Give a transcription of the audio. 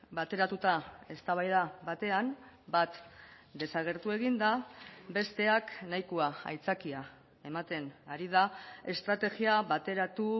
bateratuta eztabaida batean bat desagertu egin da besteak nahikoa aitzakia ematen ari da estrategia bateratu